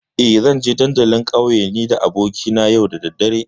Eh, zanje dandalin ƙauye nida abokina yau da daddare.